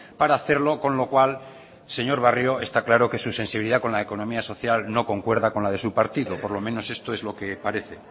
para hacerlo con lo cual señor barrio está claro que su sensibilidad con la economía social no concuerda con la de su partido por lo menos esto es lo que parece